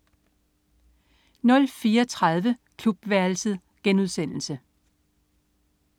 04.30 Klubværelset*